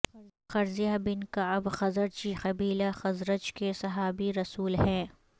قرظہ بن کعب خزرجی قبیلہ خزرج کے صحابی رسول ہیں